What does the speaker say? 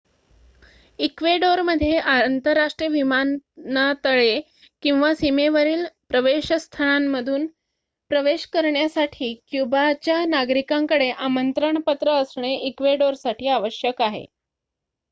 इक्वेडोरमध्ये आंतरराष्ट्रीय विमानातळे किंवा सीमेवरील प्रवेशस्थळांतून प्रवेश करण्यासाठी क्युबाच्या नागरिकांकडे आमंत्रण पत्र असणे इक्वेडोरसाठी आवश्यक आहे